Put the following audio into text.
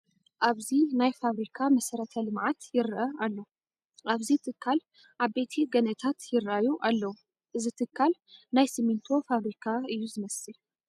ኣብዚ ናይ ፋብሪካ መሰረተ ልምዓት ይርአ ኣሎ፡፡ ኣብዚ ትካል ዓበይቲ ገንእታት ይርአዩ ኣለዉ፡፡ እዚ ትካል ናይ ስሚንቶ ፋብሪካ እዩ ዝመስል፡፡